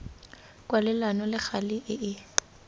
kwalelano le gale e e